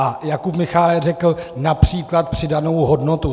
A Jakub Michálek řekl například přidanou hodnotu.